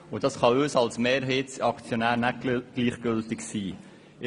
Das kann uns als Mehrheitsaktionären nicht gleichgültig sein.